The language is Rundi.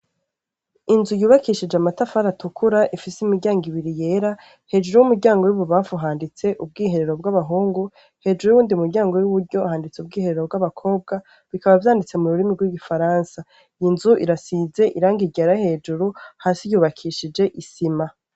Inzu yubakishije amatafari atukura, ifise imiryango ibiri yera, hejuru y'umuryango w'ibubanfu handitse ubwiherero bw'abahungu, hejuru y'uwundi muryango w'iburyo handitse ubwiherero bw'abakobwa. Bikaba vyanditse mu runini rw'igifaransa. Iyo nzu irasize irangi ryera hejuru, hasi yubakishije isima.